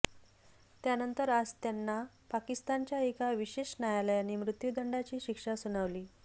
त्यानंतर आज त्यांना पाकिस्तानच्या एका विशेष न्यायालयाने मृत्यूदंडाची शिक्षा सुनावली